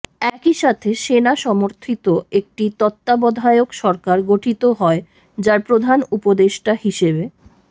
একই সাথে সেনা সমর্থিত একটি তত্ত্বাবধায়ক সরকার গঠিত হয় যার প্রধান উপদেষ্টা হিসেবে